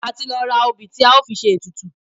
A ti lọ ra òbì tí a ó fi ṣe ètùtù.